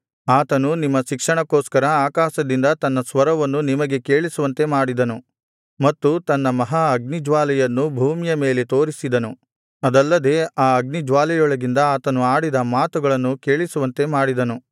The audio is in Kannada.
ಆತನು ನಿಮ್ಮ ಶಿಕ್ಷಣಕ್ಕೋಸ್ಕರ ಆಕಾಶದಿಂದ ತನ್ನ ಸ್ವರವನ್ನು ನಿಮಗೆ ಕೇಳಿಸುವಂತೆ ಮಾಡಿದನು ಮತ್ತು ತನ್ನ ಮಹಾ ಅಗ್ನಿಜ್ವಾಲೆಯನ್ನು ಭೂಮಿಯ ಮೇಲೆ ತೋರಿಸಿದನು ಅದಲ್ಲದೆ ಆ ಅಗ್ನಿಜ್ವಾಲೆಯೊಳಗಿಂದ ಆತನು ಆಡಿದ ಮಾತುಗಳನ್ನು ಕೇಳಿಸುವಂತೆ ಮಾಡಿದನು